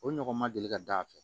O ɲɔgɔn ma deli ka da a fɛ